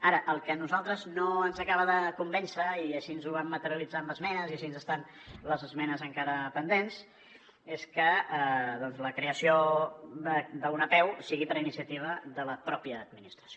ara el que a nosaltres no ens acaba de convèncer i així ho vam materialitzar amb esmenes i així està en les esmenes encara pendents és que la creació d’una apeu sigui per iniciativa de la mateixa administració